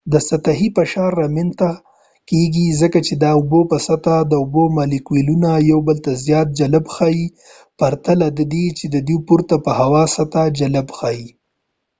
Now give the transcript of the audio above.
د سطحې فشار رامینځته کیږي ځکه چې د اوبو په سطح د اوبو مالیکولونه یو بل ته زیات جلب ښئیي پرته له دی چی دوئ پورته په هوا سطح جلب ښئیي